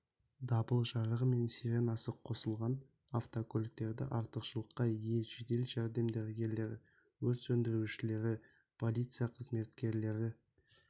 дабыл жарығы мен сиренасы қосылған автокөліктерді артықшылыққа ие жедел жәрдем дәрігерлері өрт сөндірушілері полиция қызметкерлері